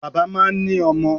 Bàbá máa ń ní ọmọ.